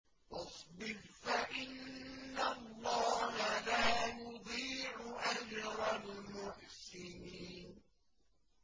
وَاصْبِرْ فَإِنَّ اللَّهَ لَا يُضِيعُ أَجْرَ الْمُحْسِنِينَ